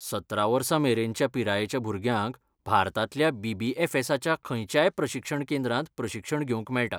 सतरा वर्सां मेरेनच्या पिरायेच्या भुरग्यांक भारतांतल्या बी.बी.एफ.एसा.च्या खंयच्याय प्रशिक्षण केंद्रांत प्रशिक्षण घेवंक मेळटा.